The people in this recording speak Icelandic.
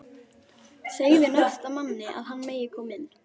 Segðu næsta manni að hann megi koma inn